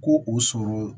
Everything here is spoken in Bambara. Ko o sɔrɔ